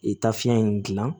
E taa fiɲɛ in gilan